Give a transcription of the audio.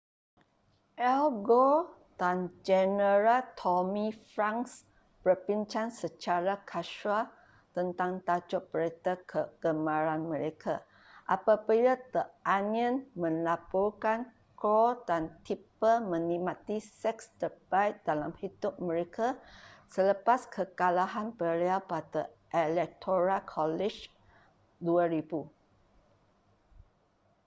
al gore dan jeneral tommy franks berbincang secara kasual tentang tajuk berita kegemaran mereka apabila the onion melaporkan gore dan tipper menikmati seks terbaik dalam hidup mereka selepas kekalahan beliau pada electoral college 2000